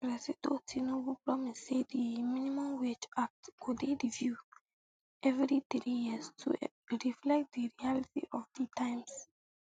presido tinubu promise say di um minimum wage act go dey reviewed evri three years to um reflect di reality of di times